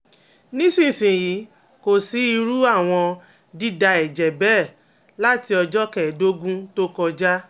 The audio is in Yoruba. nísinsìnyí kò sí irú àwọn dida eje bẹ́ẹ̀ láti ọjọ́ kẹ́ẹ̀dógún tó kọjá